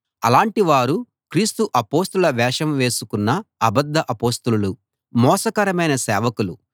అలాంటి వారు క్రీస్తు అపొస్తలుల వేషం వేసుకున్న అబద్ధ అపొస్తలులు మోసకరమైన సేవకులు